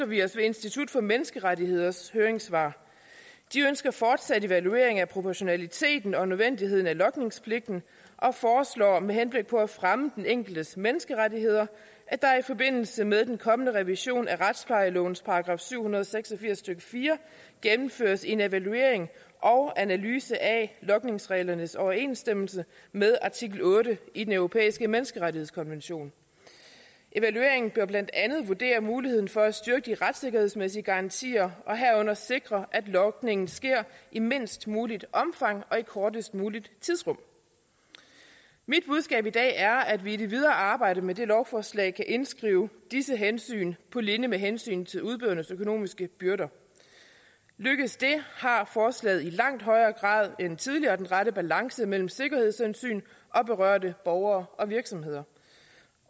vi os ved institut for menneskerettigheders høringssvar de ønsker fortsat evaluering af proportionaliteten og nødvendigheden af logningspligten og foreslår med henblik på at fremme det enkeltes menneskerettigheder at der i forbindelse med den kommende revision af retsplejelovens § syv hundrede og seks og firs stykke fire gennemføres en evaluering og en analyse af logningsreglernes overensstemmelse med artikel otte i den europæiske menneskerettighedskonvention evalueringen bør blandt andet vurdere muligheden for at styrke de retssikkerhedsmæssige garantier og herunder sikre at logningen sker i mindst muligt omfang og i kortest muligt tidsrum mit budskab i dag er at vi i det videre arbejde med det lovforslag indskriver disse hensyn på linje med hensynet til udbydernes økonomiske byrder lykkes det har forslaget i langt højere grad end tidligere den rette balance mellem sikkerhedshensyn og berørte borgere og virksomheder